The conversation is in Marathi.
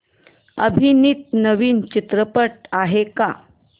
अभिनीत नवीन चित्रपट आहे का